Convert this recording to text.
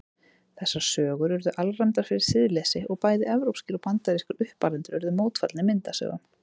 Þessar sögur urðu alræmdar fyrir siðleysi og bæði evrópskir og bandarískir uppalendur urðu mótfallnir myndasögum.